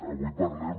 avui parlem